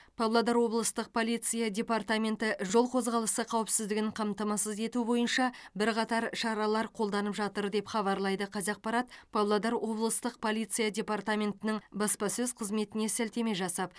павлодар облыстық полиция департаменті жол қозғалысы қауіпсіздігін қамтамасыз ету бойынша бірқатар шаралар қолданып жатыр деп хабарлайды қазақпарат павлодар облыстық полиция департаментінің баспасөз қызметіне сілтеме жасап